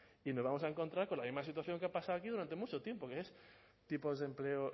y nos vamos a encontrar con la misma situación que ha pasado aquí durante mucho tiempo que es tipos de empleo